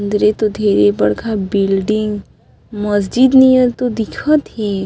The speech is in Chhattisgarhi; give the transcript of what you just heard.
अंदरे तो ढेरे बड़खा बिल्डिंग मस्जिद नियर तो दिखत हे।